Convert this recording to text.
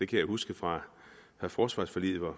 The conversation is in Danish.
kan huske fra forsvarsforliget hvor